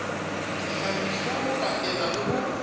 dihlahiswa ho pakela le ho